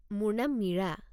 মোৰ নাম মীৰা।